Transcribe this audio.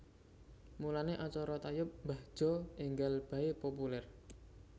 Mulane acara tayub mbah Jo enggal bae populer